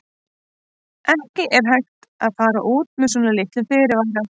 Það er ekki hægt að fara út með svona litlum fyrirvara.